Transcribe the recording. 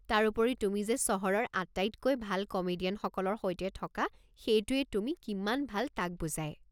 তাৰোপৰি তুমি যে চহৰৰ আটাইতকৈ ভাল কমেডিয়ানসকলৰ সৈতে থকা সেইটোৱেই তুমি কিমান ভাল তাক বুজায়।